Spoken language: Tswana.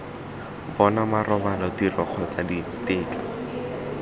bona marobalo tiro kgotsa ditetla